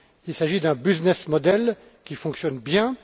Il s'agit d'un business model qui fonctionne bien.